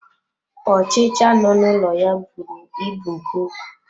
Ọchịcha no n'ụlọ ya bụrụ ịbụ nke ukwuu.